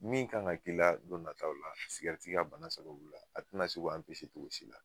Min kan ka k'i don nataw la sigɛrɛti ka bana sababu la a te na se k'o anpese cogosi la